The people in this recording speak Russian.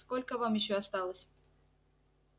сколько вам ещё осталось